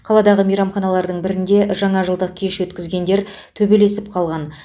қаладағы мейрамханалардың бірінде жаңа жылдық кеш өткізгендер төбелесіп қалған